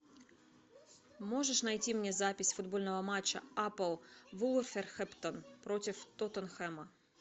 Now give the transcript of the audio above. можешь найти мне запись футбольного матча апл вулверхэмптон против тоттенхэма